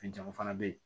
Fɛn caman fana bɛ yen